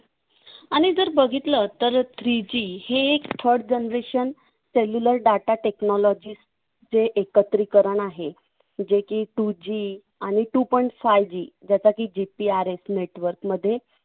आणि जर बघितलं तर three G हे एक third generation cellular data technology जे एकत्रीकरण आहे जे की two G आणि two point five G ज्याचा की GPRS network मध्ये